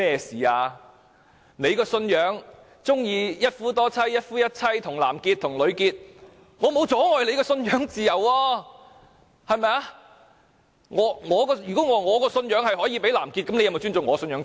她的信仰喜歡"一夫多妻"，"一夫一妻"，"與男士結合、與女士結合"又如何，我沒有阻礙她的信仰自由。